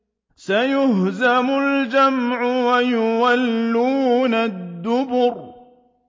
سَيُهْزَمُ الْجَمْعُ وَيُوَلُّونَ الدُّبُرَ